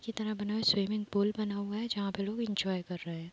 की तरह बना हुआ हैं। स्विमिंग पूल बना हुआ है| जहाँ पे लोग एन्जॉय कर रहे हैं।